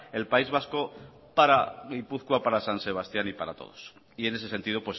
el país vasco para gipuzkoa para san sebastián y para todos y en ese sentido